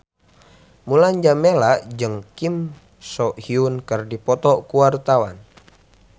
Mulan Jameela jeung Kim So Hyun keur dipoto ku wartawan